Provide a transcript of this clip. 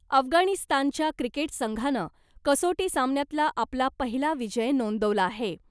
अफगाणिस्तानच्या क्रिकेट संघानं कसोटी सामन्यातला आपला पहिला विजय नोंदवला आहे .